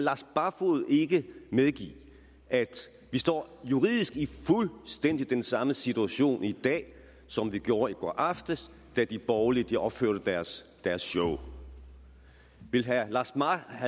lars barfoed ikke medgive at vi står juridisk i fuldstændig den samme situation i dag som vi gjorde i går aftes da de borgerlige opførte deres deres show vil herre